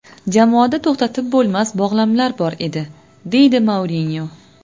Jamoada to‘xtatib bo‘lmas bog‘lamlar bor edi”, deydi Mourinyo.